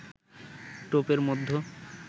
টোপের মধ্য